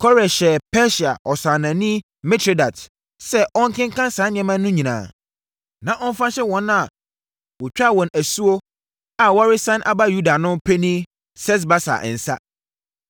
Kores hyɛɛ Persia ɔsannaani Mitredat sɛ ɔnkenkan saa nneɛma no nyinaa, na ɔmfa nhyɛ wɔn a wɔtwaa wɔn asuo a wɔresane aba Yuda no panin Sesbasar nsa.